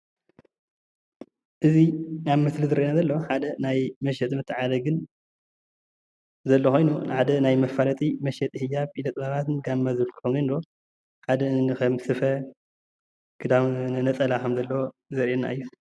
እዚ ኣብ ምስሊ ዝረአየና ዘሎ ሓደ ናይ መሸጢን መተዓዳደግን ዘሎ ኮይኑ ሓደ ናይ መፋለጢ መሽጥን ኢደ ጥበባትን ጋማን ዘለዎ ኮይኑ ሓደ ከም ስፈ ክዳን ነፀላ ከም ዘሎ ዘርእየና እዩ፡፡